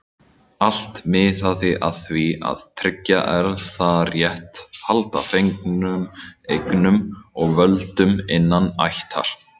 Allt miðaði að því að tryggja erfðarétt, halda fengnum eignum og völdum innan ættar.